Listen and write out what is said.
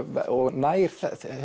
nær